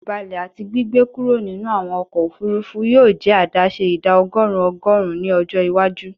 Ibalẹ ati gbigbe kuro ninu awọn ọkọ ofurufu yoo jẹ adaṣe ida ọgọrun ọgọrun ni ọjọ iwaju